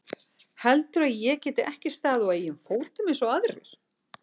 Heldurðu að ég geti ekki staðið á eigin fótum eins og aðrir?